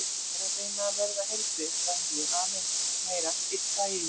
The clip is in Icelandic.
Ég er að reyna að verða heilbrigð að nýju, aðeins meira, einn dag í einu.